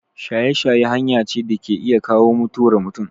Shaye-shaye hanya ce da ke iya kawo mutuwar mutum.